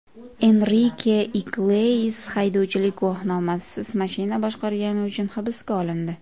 Enrike Iglesias haydovchilik guvohnomasisiz mashina boshqargani uchun hibsga olindi.